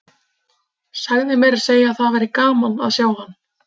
Sagði meira að segja að það væri gaman að sjá hann.